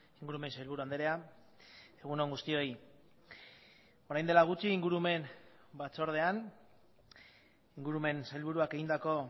ingurumen sailburu andrea egun on guztioi orain dela gutxi ingurumen batzordean ingurumen sailburuak egindako